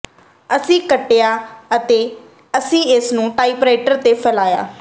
ਅਸੀਂ ਕੱਟਿਆ ਅਤੇ ਅਸੀਂ ਇਸ ਨੂੰ ਟਾਈਪਰਾਈਟਰ ਤੇ ਫੈਲਾਇਆ